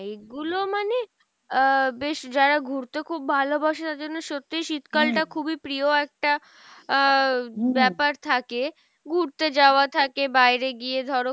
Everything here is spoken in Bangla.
এগুলো মানে আহ বেশ যারা ঘুড়তে খুব ভালোবাসে তাদের জন্য সত্যিই শীতকাল টা খুবই প্রিয় একটা আহ ব্যাপার থাকে, ঘুড়তে যাওয়া থাকে বাইরে গিয়ে ধরো